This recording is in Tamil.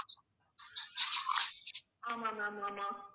ஆமாம் ma'am ஆமாம்